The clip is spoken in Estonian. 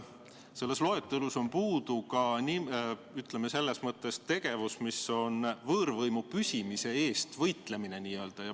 Selles loetelus on puudu ka, ütleme, selline tegevus, mis on võõrvõimu püsimise eest võitlemine.